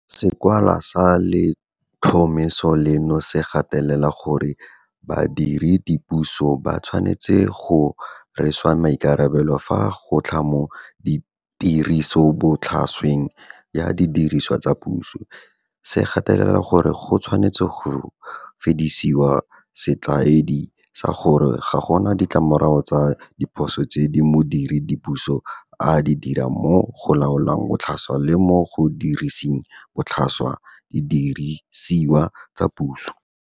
Sekwalwa sa letlhomeso leno se gatelela gore badiredipuso ba tshwanetse go rweswa maikarabelo fa go tla mo tirisobotlhasweng ya didiriswa tsa puso, se gatelela gore go tshwanetse go fedisiwe setlwaedi sa gore ga gona ditlamorago tsa diphoso tse modiredipuso a di dirang mo go laoleng botlhaswa le mo go diriseng botlhaswa didirisiwa tsa puso.